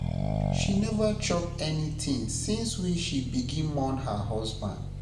She neva chop anytin since wey she begin mourn her husband